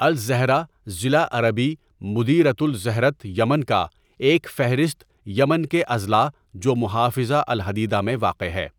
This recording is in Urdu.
الزہرہ ضلع عربی مديرية الزهرة یمن کا ایک فہرست یمن کے اضلاع جو محافظہ الحدیدہ میں واقع ہے.